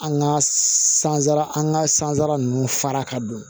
An ka sansara an ka sansara ninnu fara ka don